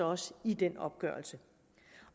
også i den opgørelse